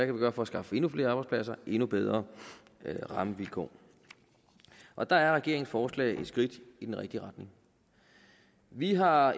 kan gøre for at skaffe endnu flere arbejdspladser og endnu bedre rammevilkår og der er regeringens forslag et skridt i den rigtige retning vi har